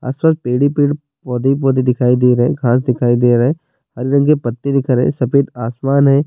Paid ہی پیڈ پڑھے ہی پڑھے دکھائی دے رہے ہے۔ گھاس دکھائی دے رہے ہے۔ عریا عریا پتے دیکھ رہے۔ سفید آسمان ہے۔